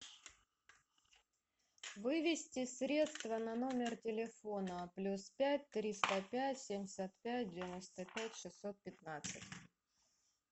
вывести средства на номер телефона плюс пять триста пять семьдесят пять девяносто пять шестьсот пятнадцать